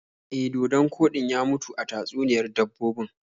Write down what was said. E, dodon koɗin ya mutu a tatsuniyar dabbobin.